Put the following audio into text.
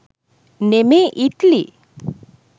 නෙමේ ඉට්ලි